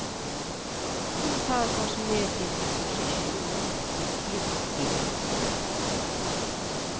Hun tar oss med til opposisjon og konflikt i lukkede rom.